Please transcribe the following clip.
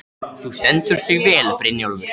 Þú stendur þig vel, Brynjólfur!